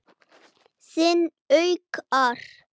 Þinn Haukur.